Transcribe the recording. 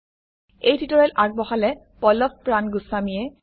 এই টিউটৰিয়েল আগবঢ়ালে পল্লভ প্ৰান গোস্ৱামীয়ে